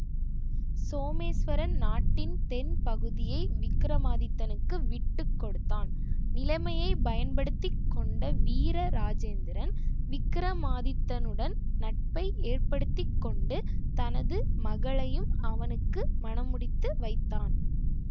சோமேஸ்வரன் நாட்டின் தென் பகுதியை விக்கிரமாதித்தனுக்கு விட்டு கொடுத்தான் நிலைமையை பயன்படுத்தி கொண்ட வீரராஜேந்திரன் விக்கிரமாதித்தனுடன் நட்பை ஏற்படுத்திக்கொண்டு தனது மகளையும் அவனுக்கு மணமுடித்து வைத்தான்